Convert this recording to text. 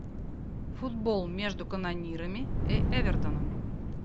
футбол между канонирами и эвертоном